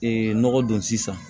nɔgɔ don sisan